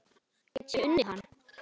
Býðst hér gáta ennþá ein,.